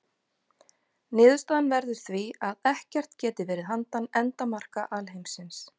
Niðurstaðan verður því að ekkert geti verið handan endamarka alheimsins.